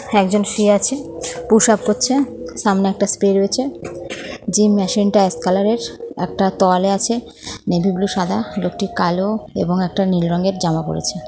একজন শুয়ে আছে পুশআপ করছে সামনে একটা স্প্রে রয়েছে যে মেশিন টা এক কালার এর একটা তোয়ালে আছে নেভি ব্লু সাদা লোকটির কালো এবং একটা নীল রঙের জামা পড়েছে ।